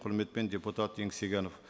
құрметпен депутат еңсегенов